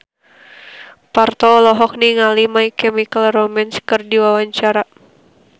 Parto olohok ningali My Chemical Romance keur diwawancara